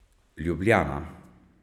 Ljubljana.